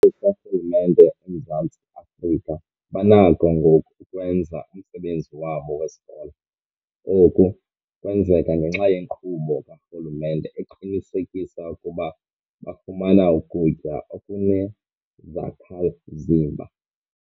zikarhulumente eMzantsi Afrika banakho ngoku ukwenza umsebenzi wabo wesikolo. Oku kwenzeka ngenxa yenkqubo karhulumente eqinisekisa ukuba bafumana ukutya okunezakha-mzimba.